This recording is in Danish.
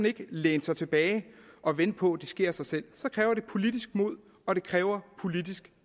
ikke læne sig tilbage og vente på at det sker af sig selv så kræver det politisk mod og det kræver politisk